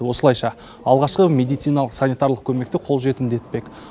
осылайша алғашқы медициналық санитарлық көмекті қолжетімді етпек